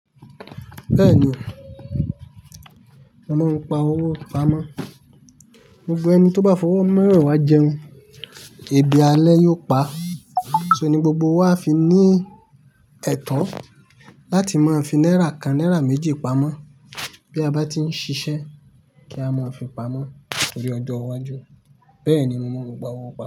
Bẹ́ẹ̀ni, mo mọ n pa owó pamọ́. Gbogbo ẹni tó bá fọwọ́ meweewá jẹun, èébì alẹ́ yóò pa. So ní gbogbo wa fi ní ẹ̀to láti máa fi náírà kan, náírà méjì pamọ́ bí a bá tí ń ṣiṣẹ́ kí a máa fi pamọ́ tori ọjọ́ iwájú. Bẹ́ẹ̀ni mo mọ ọ̀nà ìpa owó pamọ́